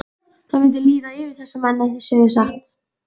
Það mundi líða yfir þessa menn ef þeir segðu satt.